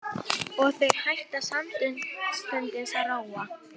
Og þeir hætta samstundis að róa.